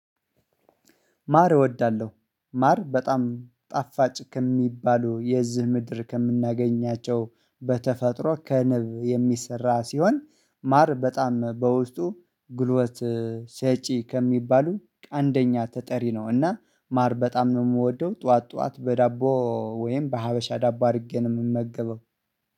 ማር እወዳለሁ ማር በጣም ጣፋጭ ከሚባሉ የዚህ ምድር ከምናገኛቸው በተፈጥሮ ከንብ የሚሰራ ሲሆን ማር በጣም በውስጡ ግልወት ሰጪ ከሚባሉ አንደኛ ተጠሪ ነው። እና ማር በጣም ነው የምወደው ጠዋት ጠዋት በዳቦ ወይም በሀበሻ ዳቦ አድርጌ ነው የምመገበው